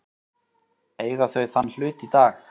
Eiga þau þann hlut í dag.